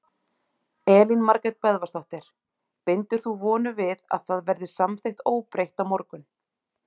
Elín Margrét Böðvarsdóttir: Bindur þú vonir við að það verði samþykkt óbreytt á morgun?